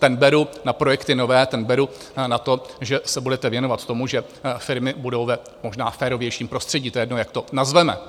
Ten beru na projekty nové, ten beru na to, že se budete věnovat tomu, že firmy budou v možná férovějším prostředí, to je jedno, jak to nazveme.